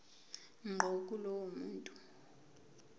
ngqo kulowo muntu